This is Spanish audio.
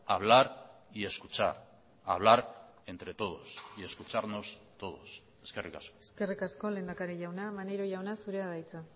hablar y escuchar hablar entre todos y escucharnos todos eskerrik asko eskerrik asko lehendakari jauna maneiro jauna zurea da hitza